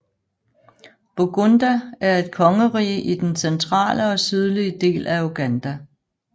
Buganda er et kongerige i den centrale og sydlige del af Uganda